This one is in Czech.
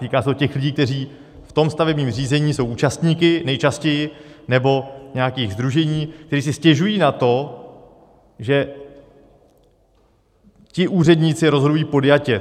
Týká se to těch lidí, kteří v tom stavebním řízení jsou účastníky, nejčastěji, nebo nějakých sdružení, kteří si stěžují na to, že ti úředníci rozhodují podjatě.